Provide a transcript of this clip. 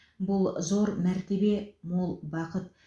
бұл зор мәртебе мол бақыт